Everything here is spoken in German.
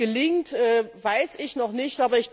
Ob das gelingt, weiß ich noch nicht.